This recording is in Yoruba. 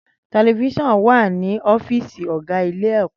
Tẹlifíṣọ̀n wà ní ọ́fíìsì ọ̀gá ilé ẹ̀kọ́.